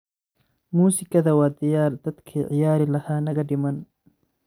Musikadha wa diyar dadki ciyarilaha nagadiman.